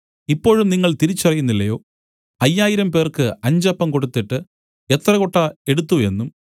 ഇപ്പോഴും നിങ്ങൾതിരിച്ചറിയുന്നില്ലയോ അയ്യായിരംപേർക്ക് അഞ്ച് അപ്പം കൊടുത്തിട്ട് എത്ര കൊട്ട എടുത്തു എന്നും